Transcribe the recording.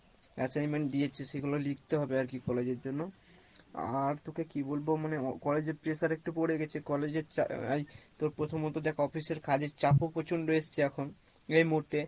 assignment দিয়েছে সেগুলো লিখতে হবে আর কী college এর জন্য আর তোকে কি বলবো, মানে college এর pressure একটু পরে গেছে college এ তোর প্রথমত দেখ office এর কাজের চাপ ও প্রচণ্ড এসছে এখন এই মুহূর্তে